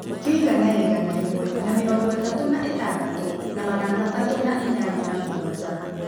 Kĩigana ya igana rĩmwe na mĩrongo ĩtatũ na ĩtandatũ na magana matatũ na inyanya na mũgwanja